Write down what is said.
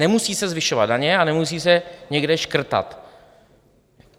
Nemusí se zvyšovat daně a nemusí se někde škrtat.